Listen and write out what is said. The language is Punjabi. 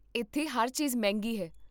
ਇੱਥੇ ਹਰ ਚੀਜ਼ ਮਹਿੰਗੀ ਹੈ